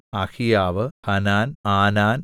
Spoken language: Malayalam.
അഹീയാവ് ഹനാൻ ആനാൻ